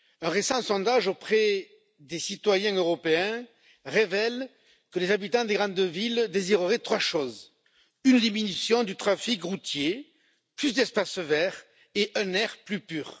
Un récent sondage auprès des citoyens européens révèle que les habitants des grandes villes désireraient trois choses une diminution du trafic routier, plus d'espaces verts et un air plus pur.